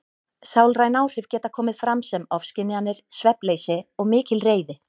Sálræn áhrif geta komið fram sem ofskynjanir, svefnleysi og mikil reiði.